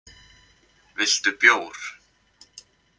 Viltu bjór?